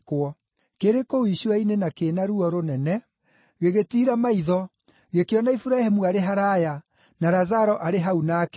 Kĩrĩ kũu icua-inĩ, kĩna ruo rũnene, gĩgĩtiira maitho, gĩkĩona Iburahĩmu arĩ haraaya, na Lazaro arĩ hau nake.